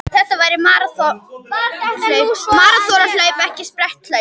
Þetta væri maraþonhlaup en ekki spretthlaup